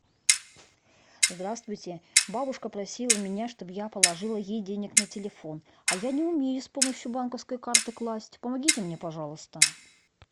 здравствуйте бабушка просила меня чтобы я положила ей денег на телефон а я не умею с помощью банковской карты класть помогите мне пожалуйста